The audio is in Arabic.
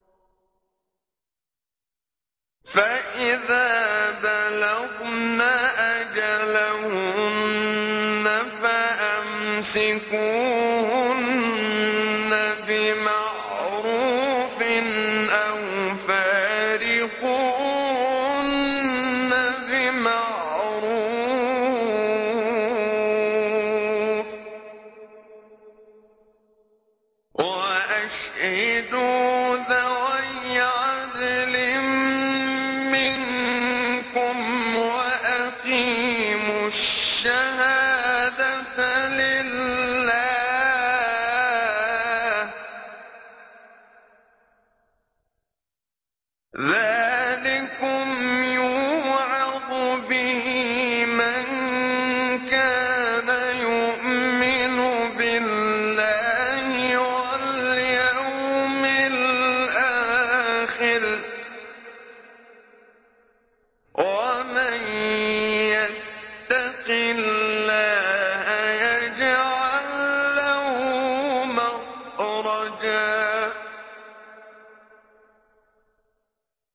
فَإِذَا بَلَغْنَ أَجَلَهُنَّ فَأَمْسِكُوهُنَّ بِمَعْرُوفٍ أَوْ فَارِقُوهُنَّ بِمَعْرُوفٍ وَأَشْهِدُوا ذَوَيْ عَدْلٍ مِّنكُمْ وَأَقِيمُوا الشَّهَادَةَ لِلَّهِ ۚ ذَٰلِكُمْ يُوعَظُ بِهِ مَن كَانَ يُؤْمِنُ بِاللَّهِ وَالْيَوْمِ الْآخِرِ ۚ وَمَن يَتَّقِ اللَّهَ يَجْعَل لَّهُ مَخْرَجًا